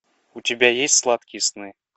у тебя есть сладкие сны